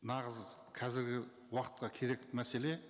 нағыз қазіргі уақытқа керек мәселе